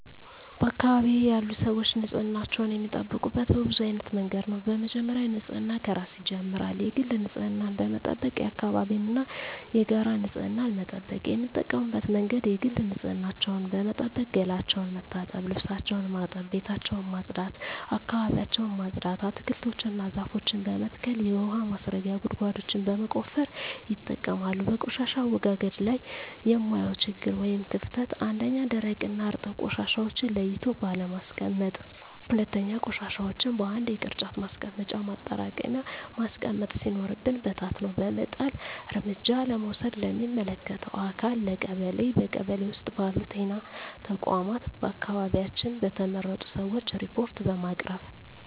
በአካባቢዬ ያሉ ሰዎች ንፅህናቸውን የሚጠብቁት በብዙ አይነት መንገድ ነው በመጀመሪያ ንፅህና ከራስ ይጀምራል የግል ንፅህናን በመጠበቅ የአካባቢን እና የጋራ ንፅህና መጠበቅ። የሚጠቀሙበት መንገድ የግል ንፅህናቸውን በመጠበቅ ገላቸውን መታጠብ ልብሳቸውን ማጠብ ቤታቸውን ማፅዳት አካባቢያቸውን ማፅዳት። አትክልቶችን እና ዛፎችን በመትከል የውሀ ማስረጊያ ጉድጓዶችን በመቆፈር ይጠቀማሉ። በቆሻሻ አወጋገድ ላይ የማየው ችግር ወይም ክፍተት 1ኛ, ደረቅና እርጥብ ቆሻሻዎችን ለይቶ ባለማስቀመጥ 2ኛ, ቆሻሻዎችን በአንድ የቅርጫት ማስቀመጫ ማጠራቀሚያ ማስቀመጥ ሲኖርብን በታትኖ በመጣል። እርምጃ ለመውሰድ ለሚመለከተው አካል ለቀበሌ ,በቀበሌ ውስጥ ባሉ ጤና ተቋማት በአካባቢያችን በተመረጡ ሰዎች ሪፓርት በማቅረብ።